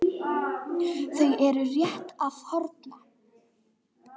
Þau eru rétt að þorna!